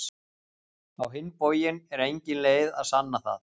Á hinn bóginn er engin leið að sanna það.